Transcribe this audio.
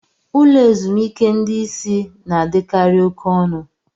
Ụlọ ezumike ndị isi na-adịkarị oke ọnụ.